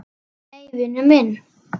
Nei, vinur minn!